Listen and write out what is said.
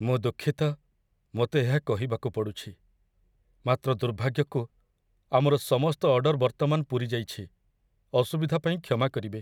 ମୁଁ ଦୁଃଖିତ, ମୋତେ ଏହା କହିବାକୁ ପଡ଼ୁଛି, ମାତ୍ର ଦୁର୍ଭାଗ୍ୟକୁ, ଆମର ସମସ୍ତ ଅର୍ଡର ବର୍ତ୍ତମାନ ପୂରିଯାଇଛି। ଅସୁବିଧା ପାଇଁ କ୍ଷମା କରିବେ।